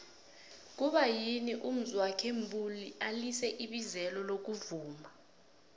kuba yini umzwokhe mbuli alize ibizelo lokuvuma